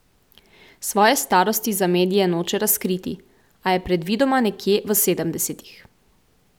Svoje starosti za medije noče razkriti, a je predvidoma nekje v sedemdesetih.